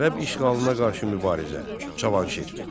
Ərəb işğalına qarşı mübarizə: Cavanşir.